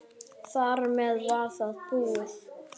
Þar með var það búið.